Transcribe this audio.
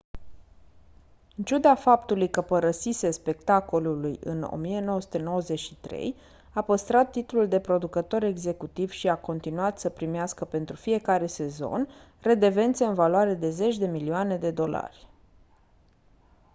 în ciuda faptului că părăsise spectacolului în 1993 a păstrat titlul de producător executiv și a continuat să primească pentru fiecare sezon redevențe în valoare de zeci de milioane de dolari